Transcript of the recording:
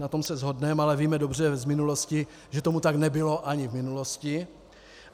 Na tom se shodneme, ale víme dobře z minulosti, že tomu tak nebylo ani v minulosti.